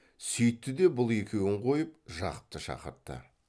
сүйтті де бұл екеуін қойып жақыпты шақыртты